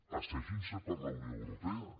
passegin se per la unió europea